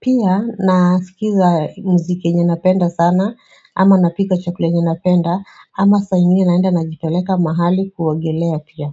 Pia, nasikiza muziki yenye napenda sana ama napika chakula yenye napenda ama saa ingine naenda najipeleka mahali kuogelea pia.